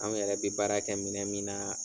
Anw yɛrɛ bɛ baara kɛ minɛn min na.